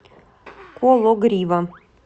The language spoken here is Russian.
кологрива